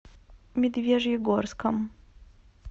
медвежьегорском